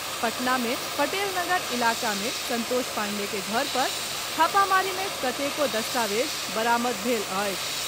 पटना मे पटेल नगर इलाका मे संतोष पांडेय के घर पर छापामारी मे कतेको दस्तावेज बरामद भेल अछि।